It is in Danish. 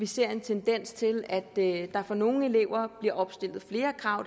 ser en tendens til at der for nogle elever bliver opstillet flere krav